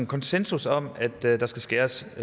konsensus om at der der skal skæres